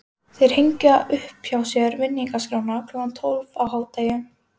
Þeir hengja upp hjá sér vinningaskrána klukkan tólf á hádegi.